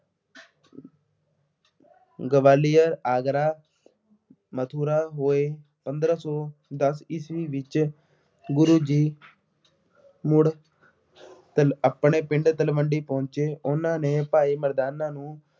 ਗਵਾਲੀਅਰ, ਆਗਰਾ, ਮਥੁਰਾ, ਭੋਏ, ਪੰਦਰਾ ਸੌ ਦਸ ਈਸਵੀ ਵਿੱਚ ਗੁਰੂ ਜੀ ਮੁੜ ਤਲ ਆਪਣੇ ਪਿੰਡ ਤਲਵੰਡੀ ਪਹੁੰਚੇ। ਉਹਨਾ ਨੇ ਭਾਈ ਮਰਦਾਨਾ ਨੂੰ